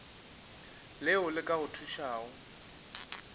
leo le ka go thušago